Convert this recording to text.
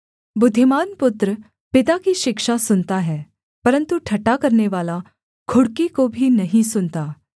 बुद्धिमान पुत्र पिता की शिक्षा सुनता है परन्तु ठट्ठा करनेवाला घुड़की को भी नहीं सुनता